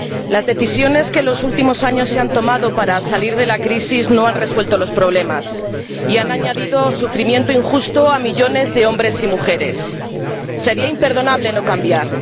Las decisiones que en los últimos años se han tomado para salir de la crisis no han resuelto los problemas y han añadido sufrimiento injusto a millones de hombres y mujeres. Sería imperdonable no cambiar